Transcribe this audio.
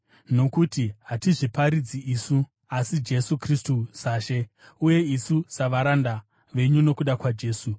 Nokuti hatizviparidzi isu, asi Jesu Kristu saShe, uye isu savaranda venyu nokuda kwaJesu.